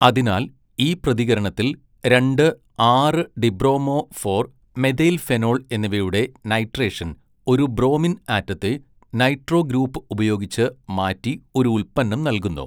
അതിനാൽ ഈ പ്രതികരണത്തിൽ രണ്ട് ആറ് ഡിബ്രോമോ ഫോർ മെഥൈൽഫെനോൾ എന്നിവയുടെ നൈട്രേഷൻ ഒരു ബ്രോമിൻ ആറ്റത്തെ നൈട്രോ ഗ്രൂപ്പ് ഉപയോഗിച്ച് മാറ്റി ഒരു ഉൽപ്പന്നം നൽകുന്നു.